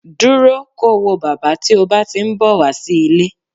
Dúró ko wo bàbá tí o bá ti ń bọ̀ wá sí ilé